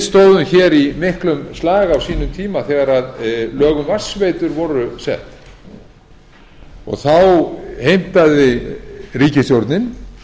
stóðum hér í miklum slag á sínum tíma þegar lög um vatnsveitur voru sett og þá heimtaði ríkisstjórnin